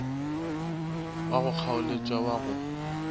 wa go kgaoletša wa go